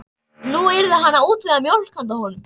Nú yrði hann að útvega mjólk handa honum.